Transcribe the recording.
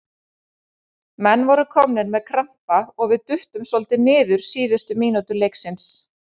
Menn voru komnir með krampa og við duttum svolítið niður síðustu mínútur leiksins.